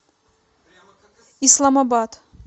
исламабад